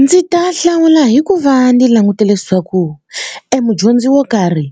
Ndzi ta hlawula hi ku va ni langutele leswaku e mudyondzi wo karhi